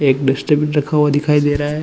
एक बिस्टिक रखा हुआ दिखाई दे रहा हैं।